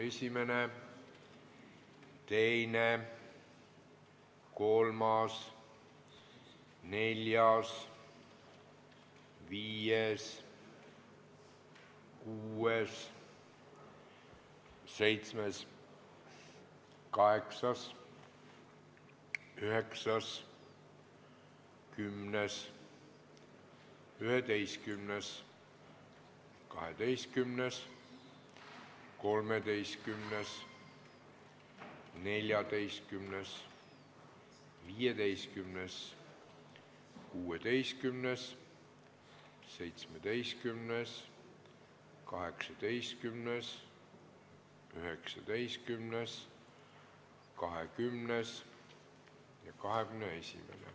1., 2., 3., 4., 5., 6., 7., 8., 9., 10., 11., 12., 13., 14., 15., 16., 17., 18., 19., 20. ja 21.